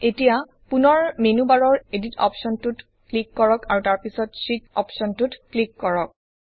এতিয়া পুনৰ মেনু বাৰৰ এডিট অপশ্বনটোত ক্লিক কৰক আৰু তাৰপিছত শীত অপশ্বনটোত ক্লিক কৰক